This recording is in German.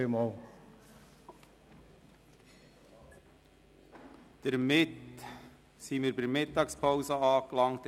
Hiermit sind wir bei der Mittagspause angelangt.